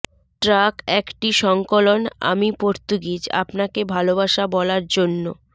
track একটি সংকলন আমি পর্তুগিজ আপনাকে ভালবাসা বলার জন্য